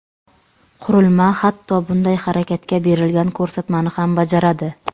Qurilma hatto bunday harakatga berilgan ko‘rsatmani ham bajaradi.